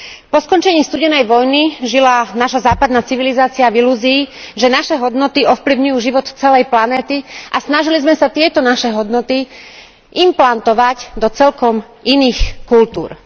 Po skončení studenej vojny žila naša západná civilizácia v ilúzii, že naše hodnoty ovplyvňujú život celej planéty a snažili sme sa tieto naše hodnoty implantovať do celkom iných kultúr.